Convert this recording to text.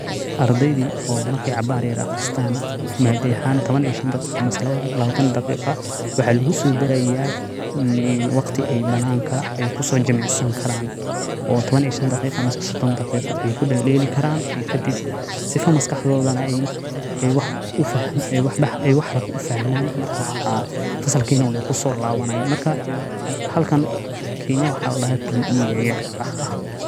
Ardeydi oo markey cabaar yara aqristan madada oo shan iyo tawan ama tawan daqiqo waxa lugusodaraya waqti ey bananka kusojimicsan karan oo tawan iyo shn daqiqo ama sodon daqiqo oo ey kudeledeli karan sifa maskaxdoda ey wax haraka ufahman marka fasalkina wey kusolawanayan marka kenya pe aya ladaha.